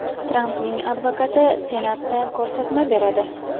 Trampning advokati Senatda ko‘rsatma beradi.